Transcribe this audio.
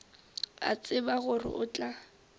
a tseba gore o tla